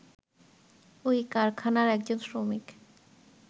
ওই কারাখানার একজন শ্রমিক